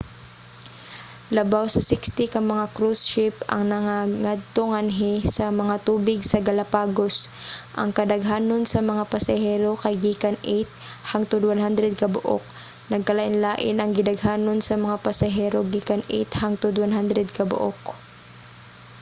labaw sa 60 ka mga cruise ship ang nagngadto-nganhi sa mga tubig sa galapagos - ang kadaghanon sa mga pasahero kay gikan 8 hangtod 100 kabuok.nagkalain-lain ang gidaghanon sa mga pasahero gikan 8 hangtod 100 ka buok